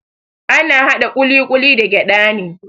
Ana haɗa ƙuliƙuli da gyada ne.